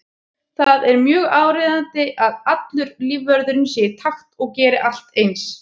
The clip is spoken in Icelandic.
Það er mjög áríðandi að allur lífvörðurinn sé í takt og geri allt eins.